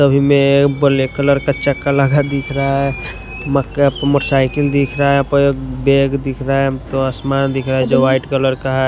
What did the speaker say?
कभी मैं black colour का चका लगा दिख रहा है। मक्का पर मोटरसाइकिल दिख रहा है। कोई बाग दिख रहा है। हम तो आसमान दिख रहा है जो वाइट कलर का है।